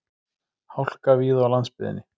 Hálka víða á landsbyggðinni